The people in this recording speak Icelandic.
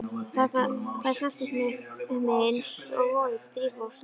Þær snertust við mig einsog volg drífa úr snjó.